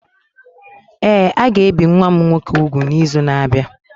Ee, a ga-ebi nwa m nwoke úgwù n'izu na-abịa.